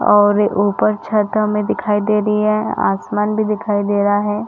और ऊपर छत हमें दिखाई दे रही है आसमान भी दिखाई दे रहा है।